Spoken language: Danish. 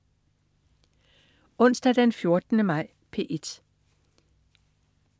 Onsdag den 14. maj - P1: